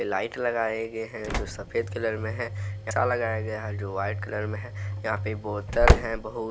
Light लगाए गए है जो सफेद कलर में है लगाया गया है जो वाइट कलर में है। यहाँ पे बोतल है बहुत।